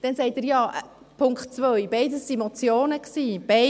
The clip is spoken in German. Dann sagt er mit Punkt 2, beides seien Motionen gewesen;